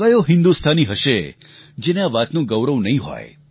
ક્યો હિન્દુસ્તાની હશે જેને આ વાતનું ગૌરવ નહીં હોય